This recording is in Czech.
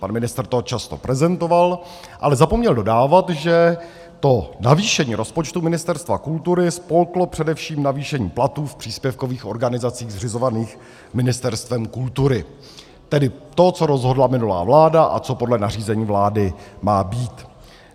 Pan ministr to často prezentoval, ale zapomněl dodávat, že to navýšení rozpočtu Ministerstva kultury spolklo především navýšení platů v příspěvkových organizacích zřizovaných Ministerstvem kultury, tedy to, co rozhodla minulá vláda a co podle nařízení vlády má být.